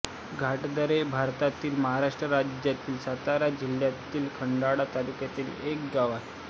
घाटदरे हे भारतातील महाराष्ट्र राज्यातील सातारा जिल्ह्यातील खंडाळा तालुक्यातील एक गाव आहे